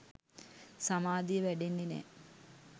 සමාධිය වැඩෙන්නෙ නෑ